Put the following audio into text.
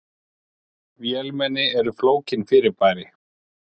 Vélmenni eru flókin fyrirbæri.